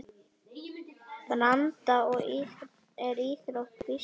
Branda er íþrótt býsna forn.